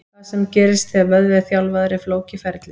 Það sem gerist þegar vöðvi er þjálfaður er flókið ferli.